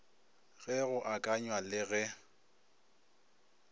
ge go akanywa le ge